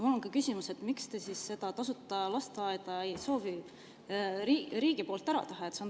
Mul ongi küsimus, miks te ei soovi siis tasuta lasteaedu riigi poolt ära teha.